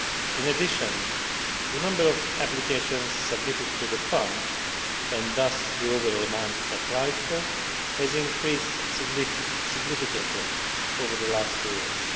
In addition, the number of applications submitted to the Fund, and thus the overall amount applied for, has increased significantly over the last two years.